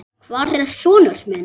Hvar er sonur minn?